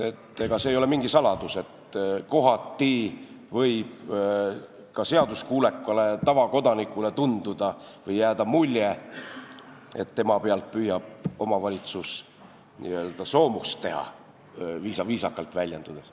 See ei ole mingi saladus, et kohati võib ka seaduskuulekale tavakodanikule tunduda või jääda mulje, et omavalitsus püüab tema pealt n-ö soomust teha, viisakalt väljendudes.